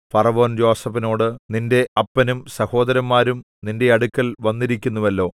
ഫറവോൻ യോസേഫിനോട് നിന്റെ അപ്പനും സഹോദരന്മാരും നിന്റെ അടുക്കൽ വന്നിരിക്കുന്നുവല്ലോ